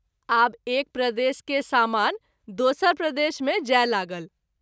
आब एक प्रदेश के सामान दोसर प्रदेश मे जाय लागल।